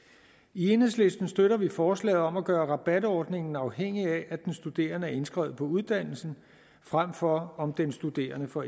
i enhedslisten støtter vi forslaget om at gøre rabatordningen afhængig af at den studerende er indskrevet på uddannelsen frem for af om den studerende får